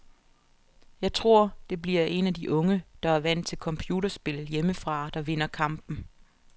Jeg tror, det bliver en af de unge, der er vant til computerspil hjemmefra, der vinder kampen.